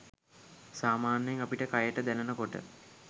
සාමාන්‍යයෙන් අපිට කයට දැනෙන කොට